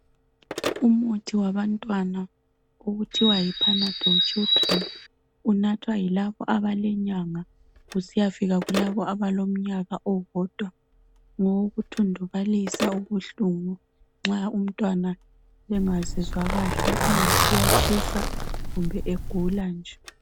Umuthi wabantwana okuthiwa yipanadol children unathwa yilabo abalenyanga kusiyafika kulabo abalomnyaka owodwa. Ngowokuthundubalisa ubuhlungu nxa engazizwa kahle engathi uyatshisa kumbe egula nje.